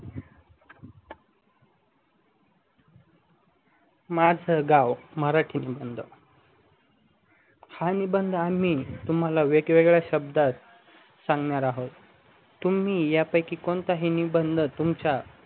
माझ गाव मराठी निबंध हा निबंध मी तुम्हाला वेगवेगड्या शब्दात सांगणार आहोत मी यापैकी कोणताही निबंध च